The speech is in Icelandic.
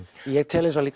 ég tel